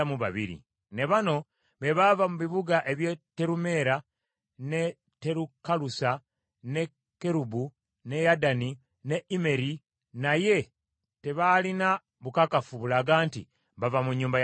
Ne bano be baava mu bibuga eby’e Terumeera, n’e Terukalusa, n’e Kerubu, n’e Yaddani, n’e Immeri, naye tebaalina bukakafu bulaga nti bava mu nnyumba ya Isirayiri.